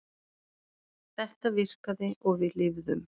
Þetta virkaði og við lifðum.